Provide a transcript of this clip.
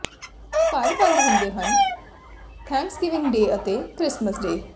ਘਰ ਬੰਦ ਹੁੰਦੇ ਹਨ ਥੈਂਕਸਗਿਵਿੰਗ ਡੇ ਅਤੇ ਕ੍ਰਿਸਮਸ ਡੇ